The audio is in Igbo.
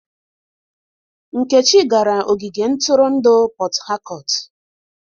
Nkechi gara ogige ntụrụndụ Port Harcourt.